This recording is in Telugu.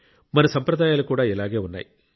మన సంప్రదాయాలు కూడా ఇలాగే ఉన్నాయి